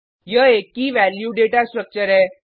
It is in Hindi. यह एक कीवैल्यू डेटा स्ट्रक्चर है